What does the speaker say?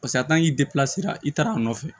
Paseke a t'an k'i i taara a nɔfɛ